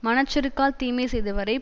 மனச் செருக்கால் தீமை செய்தவரை